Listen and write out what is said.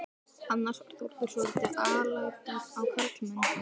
Annars var Þórður svotil alæta á karlmenn.